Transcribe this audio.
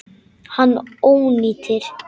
Hann ónýtir.